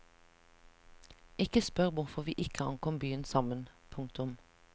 Ikke spør hvorfor vi ikke ankom byen sammen. punktum